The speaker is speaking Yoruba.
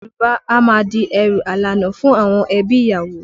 Yorùbá a máa di ẹrù alána fún àwọn ẹbí ìyàwó